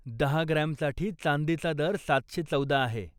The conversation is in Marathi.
दहा ग्रॅमसाठी चांदीचा दर सातशे चौदा आहे.